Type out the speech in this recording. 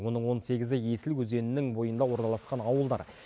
оның он сегізі есіл өзенінің бойында орналасқан ауылдар